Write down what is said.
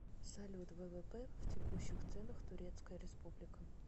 салют ввп в текущих ценах турецкая республика